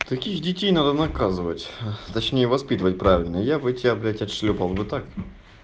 таких детей надо наказывать точнее воспитывать правильно я бы тебя блядь отшлёпал бы так